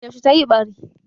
Yaushe tayi ɓari?